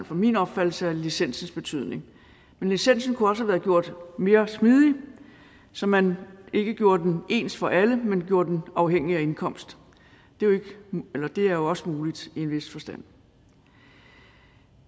for min opfattelse af licensens betydning men licensen kunne også have været gjort mere smidig så man ikke gjorde den ens for alle men gjorde den afhængig af indkomst det er jo også muligt i en vis forstand